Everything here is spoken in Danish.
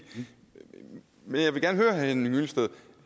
men jeg vil gerne høre herre henning hyllested